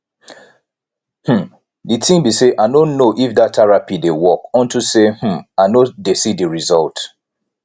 um the thing be say i no know if dat therapy dey work unto say um i no dey see the result